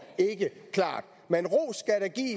ikke klart men ros